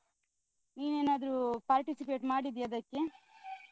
ನೀನೇನಾದ್ರು participate ಮಾಡಿದ್ಯಾ ಅದಕ್ಕೆ?